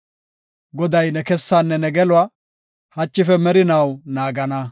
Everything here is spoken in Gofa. Goday ne kessaane ne geluwa, hachife merinaw naagana.